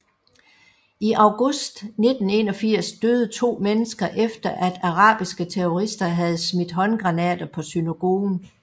I august 1981 døde to mennesker efter at arabiske terrorister havde smidt håndgranater på synagogen